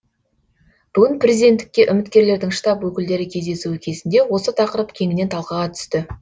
бүгін президенттікке үміткерлердің штаб өкілдері кездесуі кезінде осы тақырып кеңінен талқыға түсті